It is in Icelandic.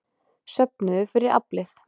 Söfnuðu fyrir Aflið